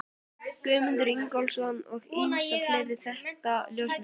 Guðmund Ingólfsson og ýmsa fleiri þekkta ljósmyndara.